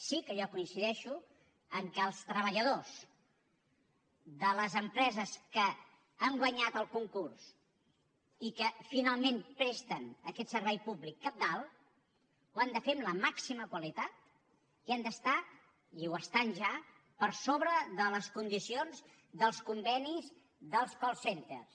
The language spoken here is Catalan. sí que jo coincideixo que els treballadors de les empreses que han guanyat el concurs i que finalment presten aquest servei públic cabdal ho han de fer amb la màxima qualitat i han d’estar i ho estan ja per sobre de les condicions dels convenis dels call centers